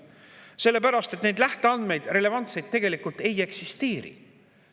Sellepärast, et relevantseid lähteandmeid tegelikult ei eksisteeri.